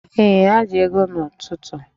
Ee, ha ji ego n'ụtụtụ